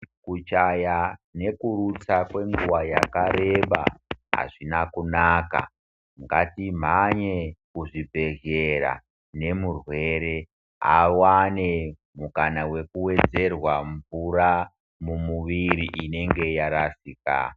Kuchaya nekurutsa kwenguwa yakareba azvina kunaka Ngati mhanye kuzvibhedhlera nemurwere awane mukana wekuwedzerwa mvura mumuvuri inenge yarasika.